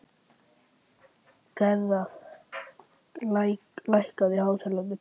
Gerðar, lækkaðu í hátalaranum.